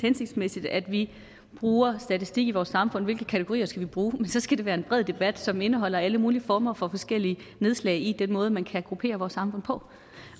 hensigtsmæssigt at vi bruger statistik i vores samfund og hvilke kategorier vi skal bruge men så skal det være en bred debat som indeholder alle mulige former for forskellige nedslag i den måde man kan gruppere vores samfund på